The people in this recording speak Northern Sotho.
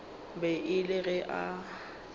be e le ge a